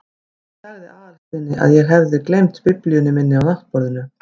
Ég sagði Aðalsteini að ég hefði gleymt biblíunni minni á náttborðinu.